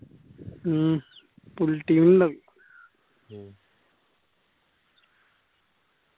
mm full team ഇണ്ടാവു